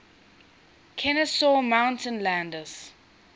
kenesaw mountain landis